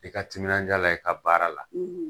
I ka timinandiya la i ka baara la